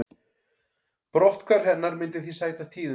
Brotthvarf hennar myndi því sæta tíðindum